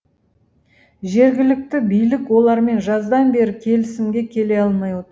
жергілікті билік олармен жаздан бері келісімге келе алмай отыр